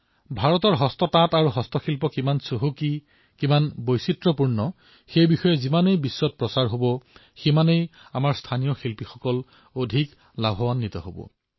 ভাৰতৰ হস্তশিল্প আৰু হস্ততাঁত কিমান সমৃদ্ধ ই কিমান বৈচিত্ৰময় এয়া বিশ্বই যিমানে জানিব সিমানে আমাৰ থলুৱা শিল্পীসকল তথা শিপিনীসকলো উপকৃত হব